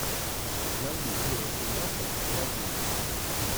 найди серия семнадцать аладдин